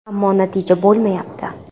Ammo natija bo‘lmayapti”.